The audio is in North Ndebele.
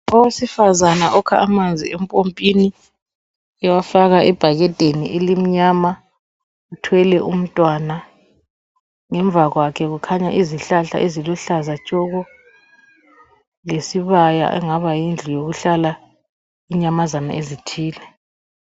Owesifazana okha amanzi empompini ewafaka ebhakedeni elimnyama. Uthwele umntwana, ngemva kwakhe kukhanya izihlahla eziluhlaza tshoko. Lesibaya okungabe Kuhlala inyamazana ezithile.